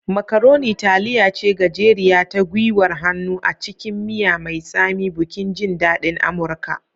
Macaroni taliya ce gajeriya ta gwiwar hannu a cikin miya mai tsami, bukin jin daɗin Amurka.